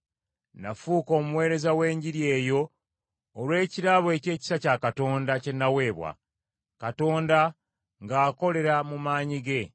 Nafuuka omuweereza w’enjiri eyo olw’ekirabo eky’ekisa kya Katonda kye naweebwa, Katonda ng’akolera mu maanyi ge.